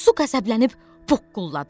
Su qəzəblənib boğqulladı.